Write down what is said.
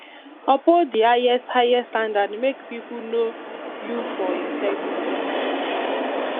uphold di highest highest standard make pipo know you for integrity